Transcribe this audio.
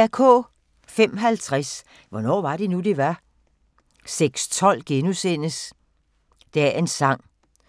05:50: Hvornår var det nu, det var? 06:12: Dagens sang: